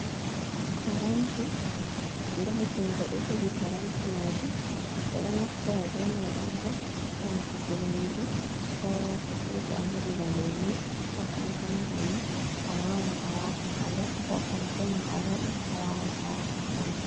Paranti nda jungo ɗo jogi paranti majum, ɓe ɗo naftira be mai on bo ha watuki nyamdu ko fruit aheɓi ba lemu, ko kankana banni a wawan a wata ha nder, ko panke ma awaɗi awawan awata ha nder.